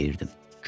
Deyirdim.